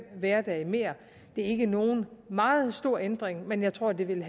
hverdage mere det er ikke nogen meget stor ændring men jeg tror at det vil